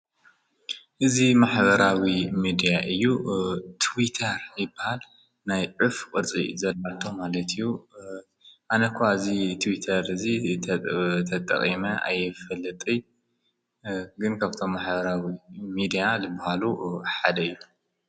እዝ ማኅበራዊ ሚድያ እዩ ትዊታር ይበል ናይ ዕፍ ወርዘይ ዘልዓልቶም ኣለትዩ ኣነኳ እዝ ትዊተር እዙ ተጠቐመ ኣየፈልጥ ግን ከብቶም መሓበራዊ ሚድያ ልብሃሉ ሓደ እዩ።